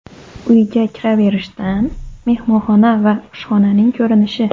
Uyga kiraverishdan mehmonxona va oshxonaning ko‘rinishi.